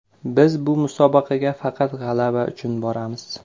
Biz bu musobaqaga faqat g‘alaba uchun boramiz.